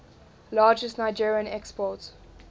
largest nigerien export